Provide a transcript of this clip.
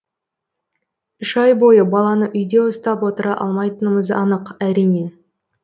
үш ай бойы баланы үйде ұстап отыра алмайтынымыз анық әрине